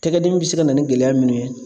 Tɛgɛ dimi be se ka na ni gɛlɛya min ye